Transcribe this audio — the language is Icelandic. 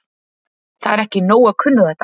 Það er ekki nóg að kunna þetta.